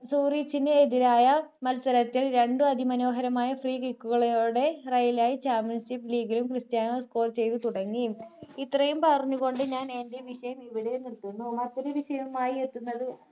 സോറിച്ചിന് എതിരായ മത്സരത്തിൽ രണ്ടും അതിമനോഹരമായ free kick കളോടെ royal യി champions league ലും ക്രിസ്റ്റിയാനോ score ചെയ്തു തുടങ്ങി ഇത്രയും പറഞ്ഞുകൊണ്ട് ഞാൻ എൻ്റെ വിഷയം ഇവിടെ നിർത്തുന്നു മറ്റൊരു വിഷയവും ആയി എത്തുന്നത്